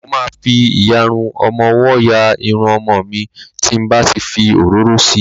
Mo ma fi ìyarun ọmọwọ́ ya Irun ọmọ mi tí n bá ti fi òróró si.